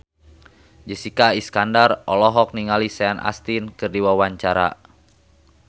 Jessica Iskandar olohok ningali Sean Astin keur diwawancara